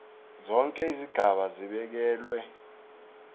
zonke izigaba zibekelwe